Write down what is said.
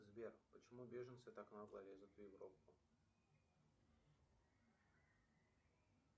сбер почему беженцы так нагло лезут в европу